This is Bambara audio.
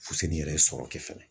Fuseni yɛrɛ sɔrɔ kɛ fɛnɛ.